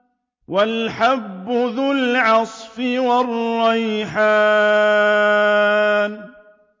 وَالْحَبُّ ذُو الْعَصْفِ وَالرَّيْحَانُ